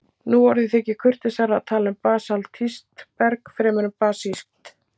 nú orðið þykir kurteisara að tala um basaltískt berg fremur en basískt